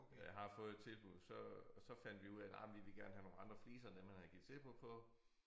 Jeg har fået et tilbud så og så fandt vi ud af nja men vi vil gerne have nogle andre fliser end dem han har givet tilbud på